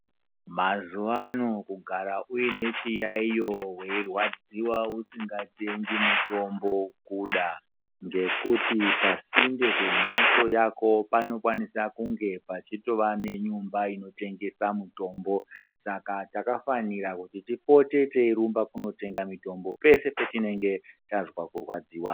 Mazuvano kugara uine weirwadziwa usingatengi mutombo kuda ngekuti pasinde pembatso yako panokwanisa kunge pachitova nenyumba inotengesa mitombo saka takafanira kuti tipote teirumba kundotenga mitombo pese petinenge tazwa kurwadziwa.